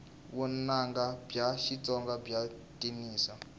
vunanga bya xitsonga bya cinisa